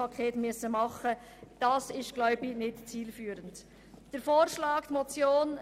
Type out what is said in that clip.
Ich denke nicht, dass dies zielführend ist.